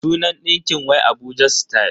Sunan ɗinkin wai Abuja style.